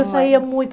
Eu saía muito.